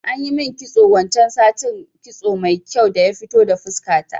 Anyi min kitso wancan satin, kitso mai kyau daya fito da fuska ta